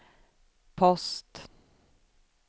post